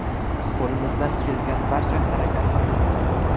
Qo‘limizdan kelgan barcha harakatni qilamiz.